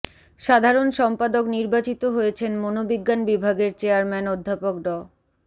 সাধারণ সম্পাদক নির্বাচিত হয়েছেন মনোবিজ্ঞান বিভাগের চেয়ারম্যান অধ্যাপক ড